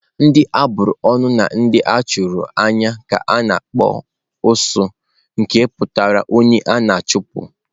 Ndị a bụrụ ọnụ na ndị a chụrụ n'anya ka a na-akpọ "osu nke pụtara onye a na-achụpụ.